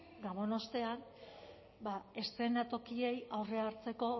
gabon ostean ba eszenatokiei aurre hartzeko